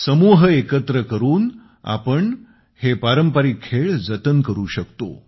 समूह एकत्र करुन आपण हे पारंपारिक खेळ जतन करु शकतो